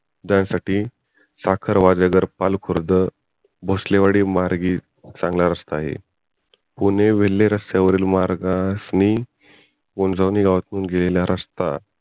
जाण्यासाठी साखर वाजेघर पाल खुर्द भोसलेवाडी मार्गे चांगला रस्ता आहे पुणे विले रस्त्यावरील मार्गासनी उंजवणी गावातून गेलेला रस्ता